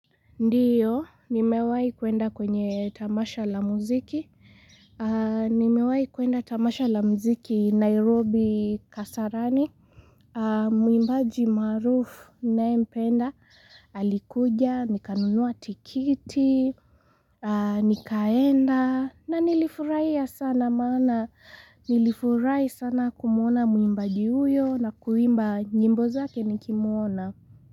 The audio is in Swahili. Ndiyo, nimewahi kuenda kwenye tamasha la muziki. Nimewahi kuenda tamasha la muziki Nairobi kasarani. Mwimbaji maarufu ninayempenda. Alikuja, nikanunua tikiti, nikaenda. Na nilifurahia sana maana. Nilifurahi sana kumuona mwimbaji huyo na kuimba nyimbo zake nikimuona.